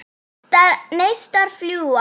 Neistar fljúga.